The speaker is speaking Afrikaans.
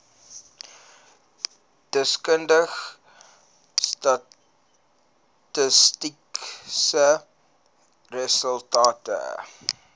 deskundige statistiese resultate